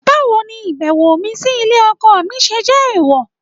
Báwo ni ìbẹ̀wò mi sí ilé ọkọ mi ṣe jẹ́ èèwọ̀?